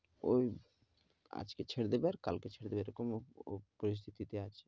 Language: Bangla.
ওই আজকে ছেড়ে দেবে আর কালকে ছেড়ে দেবে এরকম উহ উহ পরিস্থিতিতে আছে,